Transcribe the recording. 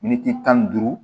Miniti tan ni duuru